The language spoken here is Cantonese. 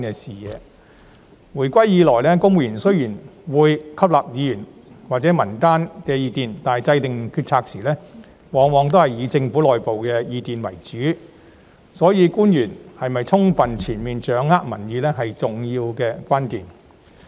自回歸以來，雖然公務員會吸納議員或民間的意見，但制訂決策時往往仍以政府內部意見為主，所以官員是否充分全面掌握民意，是重要的關鍵。